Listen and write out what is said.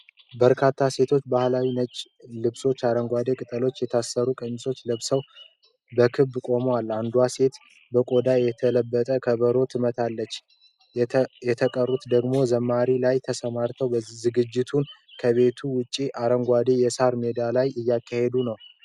በርካታ ሴቶች ባህላዊ ነጭ ልብሶችንና አረንጓዴ ቅጠሎች የተሰሩ ቀሚሶችን ለብሰው በክብ ቆመዋል። አንዷ ሴት በቆዳ የተለበጠ ከበሮ ትመታለች፣ የተቀሩት ደግሞ በዝማሬ ላይ ተሰማርተዋል። ዝግጅቱ ከቤት ውጭ አረንጓዴ የሳር ሜዳ ላይ እየተካሄደ ነው።